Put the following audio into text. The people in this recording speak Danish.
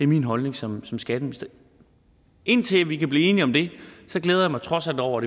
min holdning som som skatteminister indtil vi kan blive enige om det glæder mig trods alt over